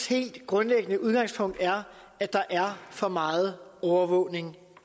helt grundlæggende udgangspunkt er at der er for meget overvågning